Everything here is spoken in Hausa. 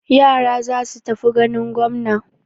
Yara za su tafi ganin gwamna.